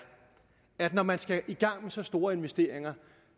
at når man skal i gang med så store investeringer